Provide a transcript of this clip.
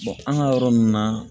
an ka yɔrɔ nun na